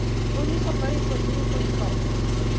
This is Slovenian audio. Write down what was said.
To niso prvi pozivi k odstopu.